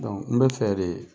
n be fɛ de